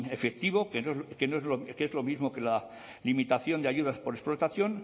efectivo que es lo mismo que la limitación de ayudas por explotación